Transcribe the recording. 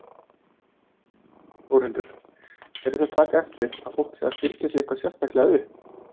Þórhildur: Eruð þið að taka eftir að fólk sé að byrgja sig eitthvað sérstaklega upp?